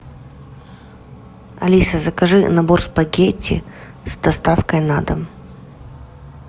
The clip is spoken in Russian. алиса закажи набор спагетти с доставкой на дом